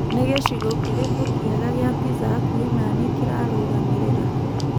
ni gicigo kirikũ kiega gĩa pizza hakũhĩ na nii kirarugamirira